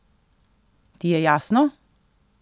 Ti je jasno?